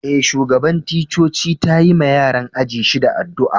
Eh, shugaban ticcoci ta yi ma yaran ajin shida addu'a.